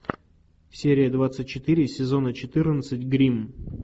серия двадцать четыре сезона четырнадцать гримм